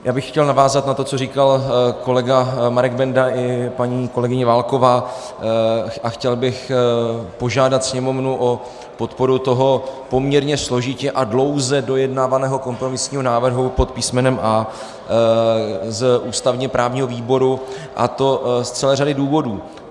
Já bych chtěl navázat na to, co říkal kolega Marek Benda i paní kolegyně Válková, a chtěl bych požádat Sněmovnu o podporu toho poměrně složitě a dlouze dojednávaného kompromisního návrhu pod písmenem A z ústavně-právního výboru, a to z celé řady důvodů.